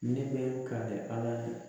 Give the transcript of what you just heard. Ne bɛ ka kɛ Ala fɛ